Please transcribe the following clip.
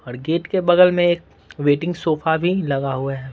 और गेट के बगल में एक वेटिंग सोफा भी लगा हुआ है।